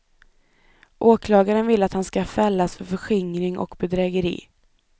Åklagaren vill att han ska fällas för förskingring och bedrägeri.